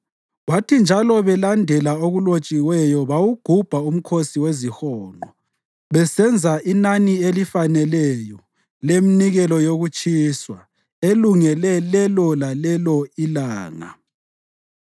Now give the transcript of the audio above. Kwathi njalo belandela okulotshiweyo bawugubha uMkhosi weziHonqo besenza inani elifaneleyo leminikelo yokutshiswa elungiselwe lelo lalelo ilanga.